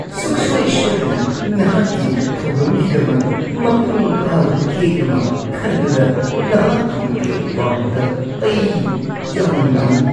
ꯁꯨꯛꯁꯣꯏ ꯁꯣꯏꯗꯅ! ꯅꯍꯥꯛꯀꯤ ꯊꯧꯔꯝꯒꯤꯗꯃꯛ ꯃꯄꯨꯡ ꯐꯥꯕ ꯀꯦꯛ ꯑꯃ ꯈꯟꯕꯗ ꯅꯍꯥꯛꯀꯤ ꯃꯇꯦꯡ ꯄꯥꯡꯕꯗ ꯑꯩ ꯌꯥꯝꯅ ꯅꯨꯡꯉꯥꯏꯅꯤ꯫